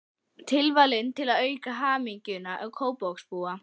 Tilvalinn til að auka hamingju Kópavogsbúa.